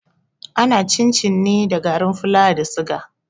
Ana yin cin-cin ne da garin fulawa da suga.